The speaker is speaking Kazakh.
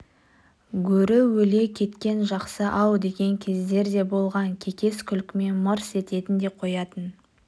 гөрі өле кеткен жақсы-ау деген кездер де болған кекес күлкімен мырс ететін де қоятын